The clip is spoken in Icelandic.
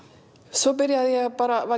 svo